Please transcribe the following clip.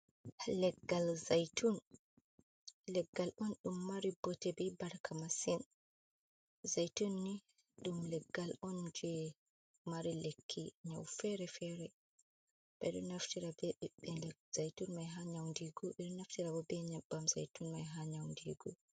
"Leggal zaitun" Leggal on ɗum mari bote be barka masin zaitun ni ɗum leggal on je mari lekki nyau fere fere ɓeɗo naftira be zaitun mai ha nyaundigo ɓeɗo naftira bo ɓe nyebbam zaitun mai ha nyaundigo.